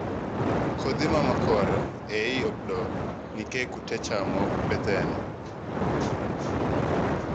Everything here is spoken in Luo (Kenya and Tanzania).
kodhi mamakore eiy opdo nikeh kute chamo bethene.